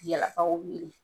Yala aw wele.